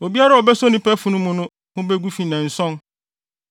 “Obiara a obeso onipa funu mu no ho begu fi nnanson.